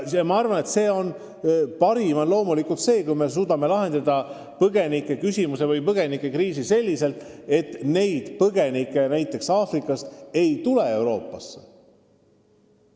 Parim on loomulikult see, kui me suudame lahendada põgenikekriisi selliselt, et näiteks Aafrikast enam põgenikke Euroopasse ei tule.